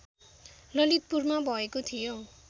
ललितपुरमा भएको थियो